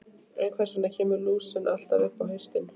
En hvers vegna kemur lúsin alltaf upp á haustin?